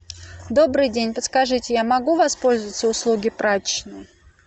добрый день подскажите я могу воспользоваться услуги прачечной